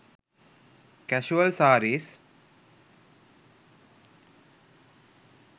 casual sarees